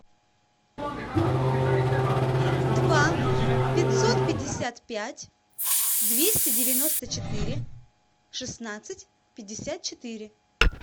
два пятьсот пятьдесят пять двести девяносто четыре шестнадцать пятьдесят четыре